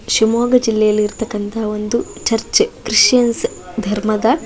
ಶಿವಮೊಗ್ಗ ಜಿಲ್ಲೆಯಲ್ಲಿ ಇರ್ತಕ್ಕಂತ ಒಂದು ಚರ್ಚ್ ಕ್ರಿಸ್ಟಿಯಾನ್ಸ್ ಧರ್ಮದ --